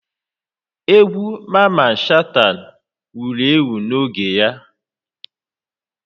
Egwu Maman Shata wuru ewu n'oge ya